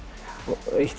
eitt